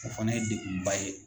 O fana ye degunba ye